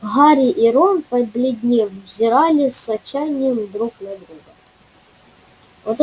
гарри и рон побледнев взирали с отчаянием друг на друга